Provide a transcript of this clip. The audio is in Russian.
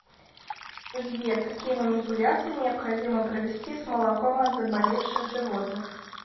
сбер какие манипуляции необходимо провести с молоком от заболевших животных